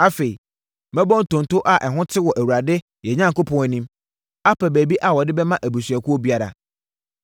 Afei, mɛbɔ ntonto a ɛho te wɔ Awurade, yɛn Onyankopɔn anim, apɛ baabi a wɔde bɛma abusuakuo biara.